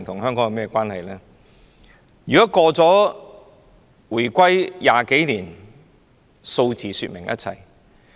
香港現已回歸20多年，數字可說明一切。